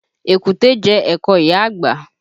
Èkúté jẹ ẹ̀kọ ìyá àgbà